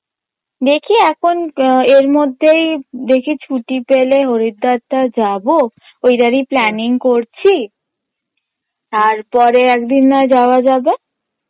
দেখি এখন এর মধ্যেই দেখি ছুটি পেলে হরিদ্বারটা যাবো ঐটারই planning করছি তারপরে একদিন নয় একদিন যাওয়া যাবে